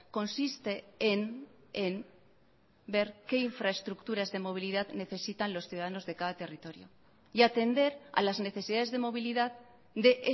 consiste en ver qué infraestructuras de movilidad necesitan los ciudadanos de cada territorio y atender a las necesidades de movilidad de